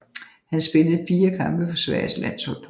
Han spillede fire kampe for Sveriges landshold